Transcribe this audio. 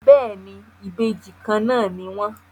Béèni, Ìbejì Kànnà ní wón.